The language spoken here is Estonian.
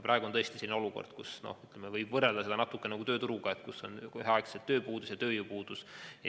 Praegu on tõesti selline olukord, mida võib võrrelda natuke nagu tööturuga, kus on üheaegselt tööpuudus ja tööjõupuudus.